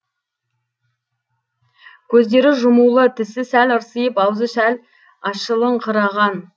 көздері жұмулы тісі сәл ырсиып аузы сәл ашылыңқыраған